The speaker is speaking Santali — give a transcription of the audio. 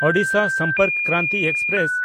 ᱳᱰᱤᱥᱟ ᱥᱚᱢᱯᱚᱨᱠ ᱠᱨᱟᱱᱛᱤ ᱮᱠᱥᱯᱨᱮᱥ